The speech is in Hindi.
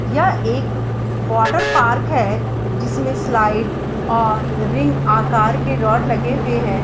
यह एक वॉटर पार्क है जिसमे स्लाइड् और रिंग आकर के रॉड लगे हुए हैं।